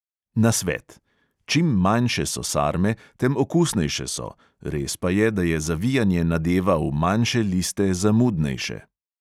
Nasvet: čim manjše so sarme, tem okusnejše so, res pa je, da je zavijanje nadeva v manjše liste zamudnejše.